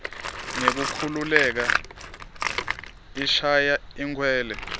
ngekukhululeka ishaya inkwela